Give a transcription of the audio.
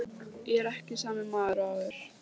Ég er ekki sami maður og áður.